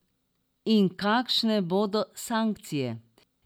In kakšne bodo sankcije?